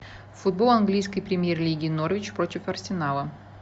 футбол английской премьер лиги норвич против арсенала